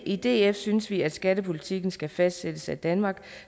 i df synes vi at skattepolitikken skal fastsættes af danmark